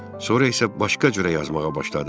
Sonra isə başqa cür yazmağa başladı.